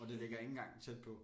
Og det ligger ikke engang tæt på